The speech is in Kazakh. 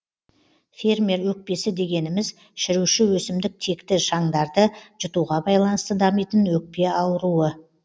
фермер өкпесі дегеніміз шіруші өсімдік текті шаңдарды жұтуға байланысты дамитын өкпе ауруы